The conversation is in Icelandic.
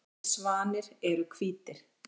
Allir svanir eru hvítir.